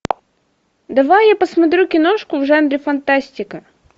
давай я посмотрю киношку в жанре фантастика